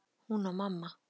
Hún og mamma.